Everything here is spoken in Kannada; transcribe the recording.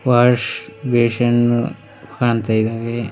ವಾಸ್ ಬೇಶನ್ನು ಕಾಣ್ತಾ ಇದಾವೆ.